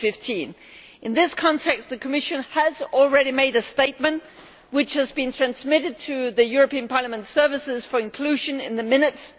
2015. In this context, the Commission has already made a statement which has been transmitted to the European Parliament services for inclusion in the minutes.